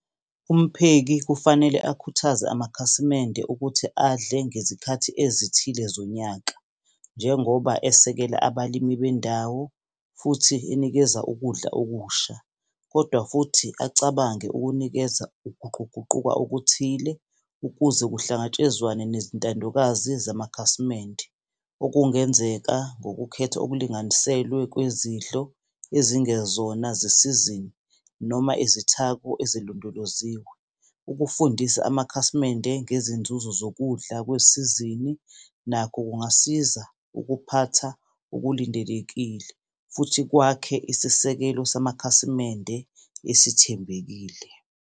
Umpheki kufanele akhuthaze amakhasimende ukuthi adle ngezikhathi ezithile zonyaka, njengoba esekela abalimi bendawo, futhi enikeza ukudla okusha, kodwa futhi acabange ukunikeza ukuguquguquka okuthile ukuze kuhlangatshezwane nezintandokazi zamakhasimende. Okungenzeka ngokukhetha okulinganiselwe kwezindlo ezingezona zesizini noma izithako ezilondoloziwe. Ukufundisa amakhasimende ngezinzuzo zokudla kwesizini nakho kungasiza ukuphatha okulindelekile, futhi kwakhe isisekelo samakhasimende esithembekile.